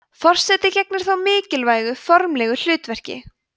forseti gegnir þó mikilvægu formlegu hlutverki